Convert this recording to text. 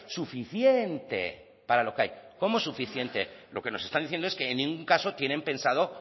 suficiente para lo que hay cómo suficiente lo que nos están diciendo es que en ningún caso tienen pensado